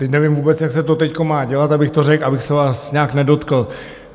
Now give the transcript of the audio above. Teď nevím vůbec, jak se to teď má dělat, abych to řekl, abych se vás nějak nedotkl.